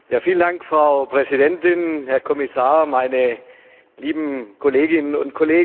Frau Präsidentin, Herr Kommissar, meine lieben Kolleginnen und Kollegen!